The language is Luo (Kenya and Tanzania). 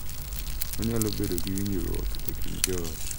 Onyalo bedo gi winjruok e kind joot.